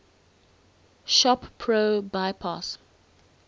shop pro bypass